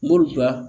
M'olu bila